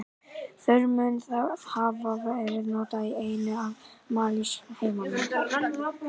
Þar mun það hafa verið notað í einni af mállýskum heimamanna.